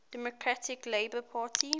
democratic labour party